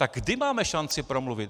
Tak kdy máme šanci promluvit?